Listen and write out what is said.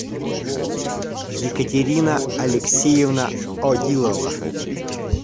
екатерина алексеевна одилова